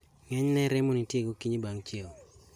Ng'enyne rem nitie gokinyi bang' chieo